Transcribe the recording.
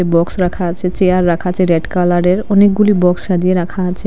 Box রাখা আছে chair রাখা আছে রেড কালারের অনেকগুলি বক্স সাজিয়ে রাখা আছে।